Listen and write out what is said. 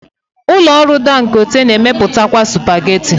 Ụlọ ọrụ Dangote na-emepụtakwa supageti.